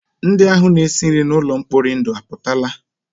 Ndị ahụ na-esi nri n'ụlọ mkpori ndụ apụtala?